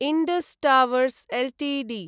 Indus towers Ltd